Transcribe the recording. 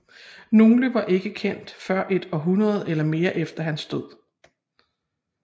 Nogle var ikke kendt før et århundrede eller mere efter hans død